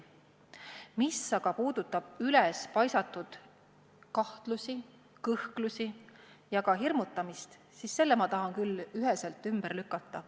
Mis aga puudutab ülespaisatud kahtlusi, kõhklusi ja hirmutamist, siis need tahan ma küll üheselt ümber lükata.